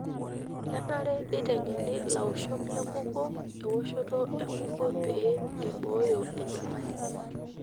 Kenare neiteng'eni laoshok lenkukuo ewoshoto enkukuo pee eiboo enyamali.